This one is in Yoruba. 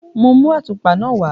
Mo mú àtùpa náà wá.